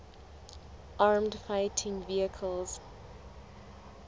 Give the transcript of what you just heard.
armoured fighting vehicles